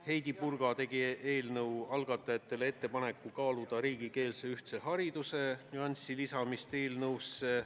Heidy Purga tegi algatajatele ettepaneku kaaluda riigikeelse ühtse hariduse klausli lisamist eelnõusse.